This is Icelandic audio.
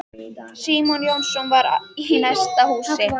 Símon Jónasson var í næsta húsi.